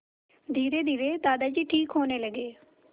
धीरेधीरे दादाजी ठीक होने लगे